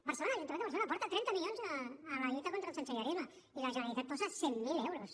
barcelona l’ajuntament de barcelona aporta trenta milions a la lluita contra el sensellarisme i la generalitat hi posa cent mil euros